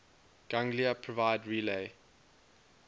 ganglia provide relay